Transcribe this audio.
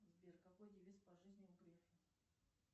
сбер какой девиз по жизни у грефа